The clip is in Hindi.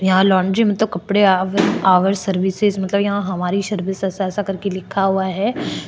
यहाँ लांड्री मतलब कपडे आवर आवर सर्विसेस मतलब यहाँ हमारी सर्विसेज ऐसा करके लिखा हुआ है।